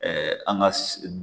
an ka